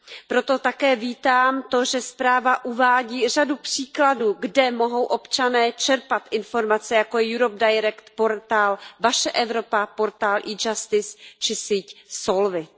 Proto také vítám to, že zpráva uvádí řadu příkladů, kde mohou občané čerpat informace, jako je Europe Direct, portál Vaše Evropa, portál e Justice či síť Solvit.